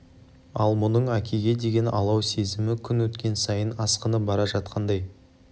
ал мұның әкеге деген алау сезімі күн өткен сайын асқынып бара жатқандай